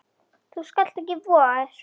Þú skalt ekki voga þér!